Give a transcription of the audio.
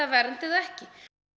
vernd eða ekki